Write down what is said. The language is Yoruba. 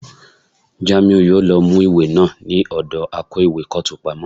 Jamiu yòó lọ mú ìwé náà ní ọ̀dọ akó ìwé kọ́ọ̀tù pamọ́.